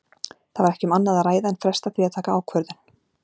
Það var ekki um annað að ræða en fresta því að taka ákvörðun.